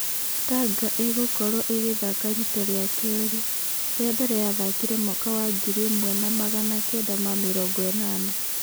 Tanga ĩgũkorwo ĩgĩthaka rita rĩa keerĩ, rĩa mbere yathakire mwaka wa ngiri ĩmwe na magana kenda na mĩrongo-ĩnana.